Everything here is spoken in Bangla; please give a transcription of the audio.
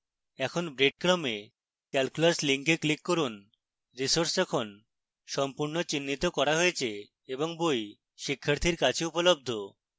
এখন breadcrumb এ calculus link click করুন